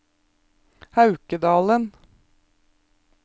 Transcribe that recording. Haukedalen